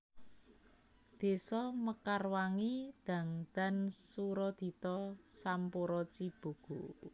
Désa Mekarwangi Dangdan Suradita Sampora Cibogo